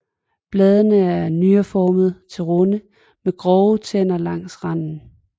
Bladene er nyreformede til runde med grove tænder langs randen